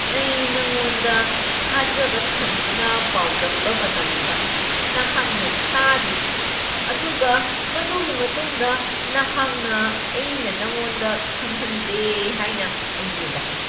ꯑꯩꯅ ꯅꯪꯉꯣꯟꯗ ꯊꯥꯖꯕ ꯊꯝꯗꯨꯅ ꯄꯥꯎꯗꯝꯕ ꯃꯇꯝꯗ ꯅꯍꯥꯛꯅ ꯇꯥꯗꯦ, ꯑꯗꯨꯒ ꯃꯗꯨꯒꯤ ꯃꯇꯨꯡꯗ ꯅꯍꯥꯛꯅ ꯑꯩꯅ ꯅꯪꯉꯣꯟꯗ ꯈꯪꯍꯟꯗꯦ ꯍꯥꯏꯅ ꯑꯩꯉꯣꯟꯗ ꯍꯥꯏ꯫